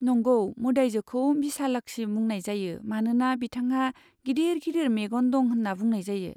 नंगौ, मोदायजोखौ बिशालाक्षी बुंनाय जायो मानोना बिथांहा गिदिर गिदिर मेगन दं होनना बुंनाय जायो।